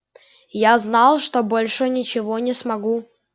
я знал что больше ничего не смогу